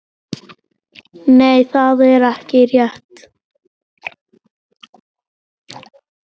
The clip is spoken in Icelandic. Nei, það er rétt.